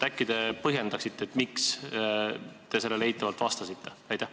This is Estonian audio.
Äkki te põhjendate, miks te eitavalt vastasite?